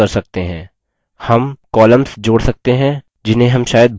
हम columns जोड़ सकते हैं जिन्हें हम शायद भूल गये हों